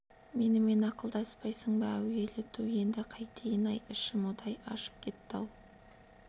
менімен ақылдаспайсың ба әуелі түу енді қайтейін-ай ішім удай ашып кетті-ау